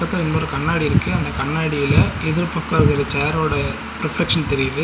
இதுல இன்னொரு கண்ணாடி இருக்கு அந்த கண்ணாடில எதிர் பக்கோ இருக்க சேர் ஓட ரிஃப்ளக்சன் தெரியிது.